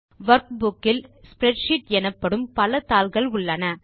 workbook இல் spreadsheet எனப்படும் பல தாள்கள் உள்ளன